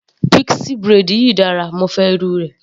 Pixie braid yìí dára, mo fẹ́ irú rẹ̀.